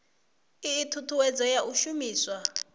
ii thuthuwedzo ya u shumiswa